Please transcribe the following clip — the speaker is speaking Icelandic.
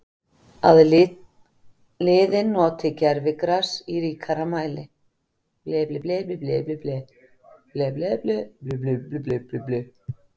Að liðin noti gervigras í ríkari mæli?